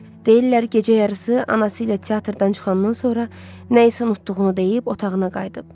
Deyirlər gecə yarısı anası ilə teatrdan çıxandan sonra nəyisə unutduğunu deyib otağına qayıdıb.